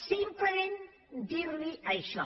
simplement dir li això